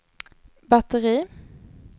batteri